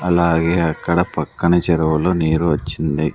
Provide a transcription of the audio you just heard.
అలాగే అక్కడ పక్కనే చెరువులో నీరు వచ్చింది.